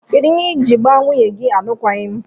Kedu ihe iji gba nwunye gi alụkwaghim?